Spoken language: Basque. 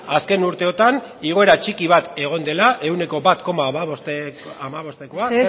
azken urteotan igoera txiki bat egon dela ehuneko bat koma hamabostekoa nominaletan mesedez